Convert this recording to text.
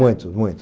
Muito, muito.